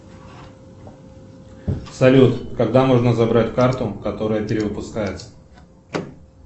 салют когда можно забрать карту которая перевыпускается